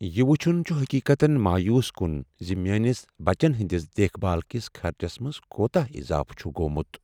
یہ وٕچھن چھ حٔقیقتن مایوس کن ز میٲنس بچن ہنٛدِس دیکھ بھال کس خرچس منٛز کوتاہ اضافہٕ چُھ گومت۔